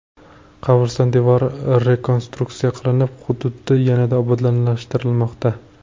Qabriston devori rekonstruksiya qilinib, hududi yanada obodonlashtirilmoqda.